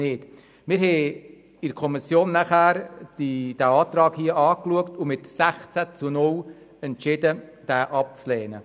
Wir haben diesen Antrag in der Kommission angeschaut und mit 16 zu 0 Stimmen entschieden, ihn abzulehnen.